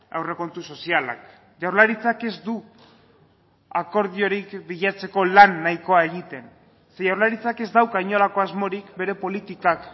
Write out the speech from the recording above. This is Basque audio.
aurrekontu sozialak jaurlaritzak ez du akordiorik bilatzeko lan nahikoa egiten jaurlaritzak ez dauka inolako asmorik bere politikak